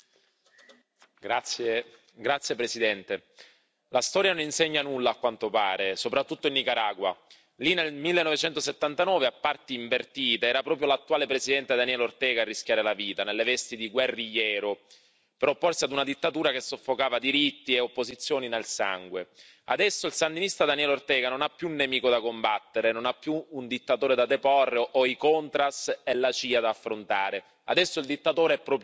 Signor Presidente, onorevoli colleghi, la storia non insegna nulla, a quanto pare, soprattutto in Nicaragua. Lì nel 1979, a parti invertite, era proprio l'attuale presidente Daniel Ortega a rischiare la vita nelle vesti di guerrigliero per opporsi ad una dittatura che soffocava diritti e opposizioni nel sangue. Adesso il sandinista Daniel Ortega non ha più un nemico da combattere, non ha più un dittatore da deporre o i Contras e la CIA da affrontare. Adesso il dittatore è proprio lui.